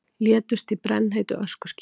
Létust í brennheitu öskuskýi